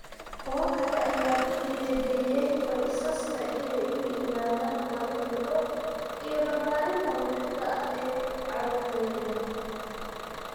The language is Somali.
Kuwo kale ayaa ku dhiirigaliyay qoysaska inay u yimaadaan maalmo duco iyo barbaarinta ruuxiga ah ee carruurta yaryar.